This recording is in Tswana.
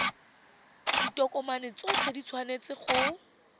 ditokomane tsotlhe di tshwanetse go